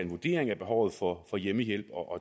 vurdering af behovet for hjemmehjælp og